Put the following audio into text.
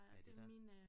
Hvad er det dér?